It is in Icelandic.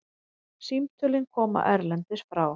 Símtölin koma erlendis frá.